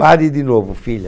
Pare de novo, filha.